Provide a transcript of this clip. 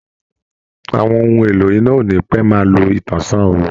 Àwọn ohun èlò iná ò ní pẹ́ máa lo ìtànsán oòrùn